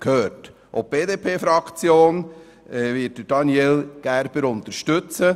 Auch die BDP-Fraktion wird Daniel Gerber unterstützen.